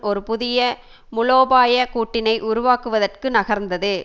ஒரு புதிய மூலோபாய கூட்டினை உருவாக்குவதற்கு நகர்ந்தது